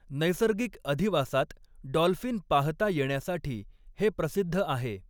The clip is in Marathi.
नैसर्गिक अधिवासात डॉल्फिन पाहता येण्यासाठी हे प्रसिद्ध आहे.